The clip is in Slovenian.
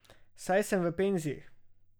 Saj sem v penziji.